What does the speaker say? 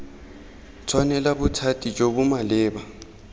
tshwanela bothati jo bo maleba